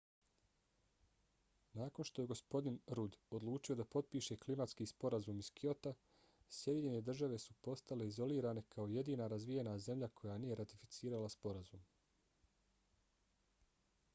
nakon što je gospodin rudd odlučio da potpiše klimatski sporazum iz kyota sjedinjene države su postale izolirane kao jedina razvijena zemlja koja nije ratificirala sporazum